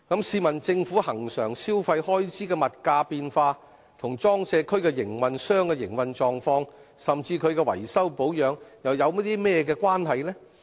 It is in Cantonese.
試問政府恆常消費開支的物價變化與裝卸區營運商的營運狀況，甚至其維修保養有何直接關係？